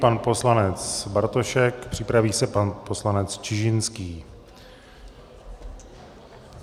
Pan poslanec Bartošek, připraví se pan poslanec Čižinský.